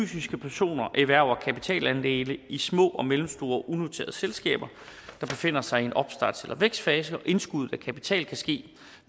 fysiske personer erhverver kapitalandele i små og mellemstore unoterede selskaber der befinder sig i en opstarts eller vækstfase indskuddet af kapital kan ske